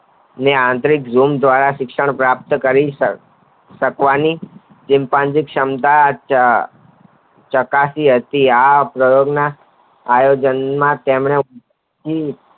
ને આંતરિક લૂમ દ્વારા શિક્ષણ પ્રાપ્ત કરિયું શકવાની ચિમ્પાજીન ક્ષમતા ચકાસી હતી આ પ્રયોગ ના માં તેને.